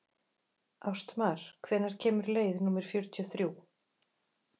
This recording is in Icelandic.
Ástmar, hvenær kemur leið númer fjörutíu og þrjú?